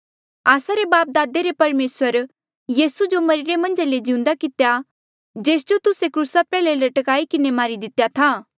आस्सा रे बापदादे रे परमेसरे यीसू जो मरिरे मन्झा ले जीऊंदा कितेया जेस जो तुस्से क्रूसा प्रयाल्हे लटकाई किन्हें मारी दितेया था